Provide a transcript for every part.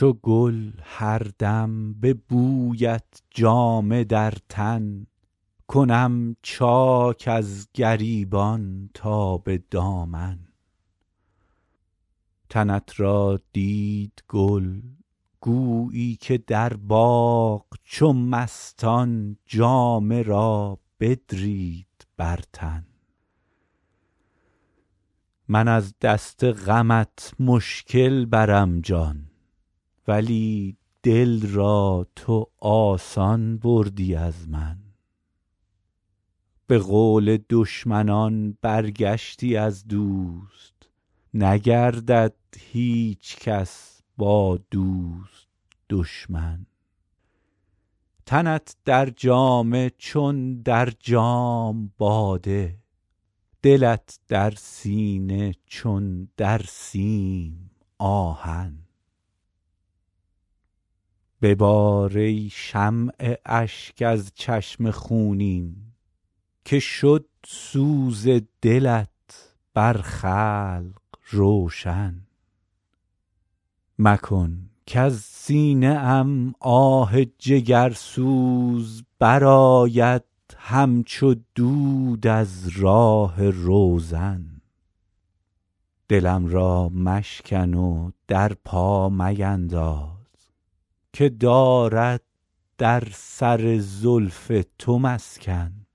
چو گل هر دم به بویت جامه در تن کنم چاک از گریبان تا به دامن تنت را دید گل گویی که در باغ چو مستان جامه را بدرید بر تن من از دست غمت مشکل برم جان ولی دل را تو آسان بردی از من به قول دشمنان برگشتی از دوست نگردد هیچ کس با دوست دشمن تنت در جامه چون در جام باده دلت در سینه چون در سیم آهن ببار ای شمع اشک از چشم خونین که شد سوز دلت بر خلق روشن مکن کز سینه ام آه جگرسوز برآید همچو دود از راه روزن دلم را مشکن و در پا مینداز که دارد در سر زلف تو مسکن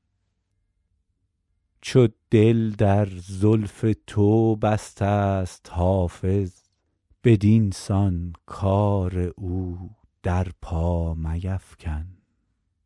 چو دل در زلف تو بسته ست حافظ بدین سان کار او در پا میفکن